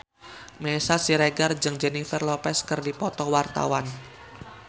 Meisya Siregar jeung Jennifer Lopez keur dipoto ku wartawan